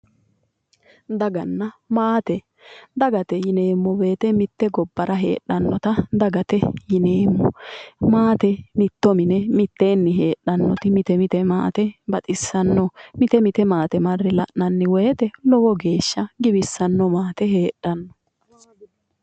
Daganna maate. dagate yineemmo mitte gibbara heedhannota dagate yineemmo. maate mitto mine mitteenni heedhannoti mite mite maate baxissanno. mite mite maate marre la'nanni woyiite lowo geeshsha giwissanno maate heedhanno.